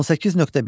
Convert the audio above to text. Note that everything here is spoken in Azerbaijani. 18.1.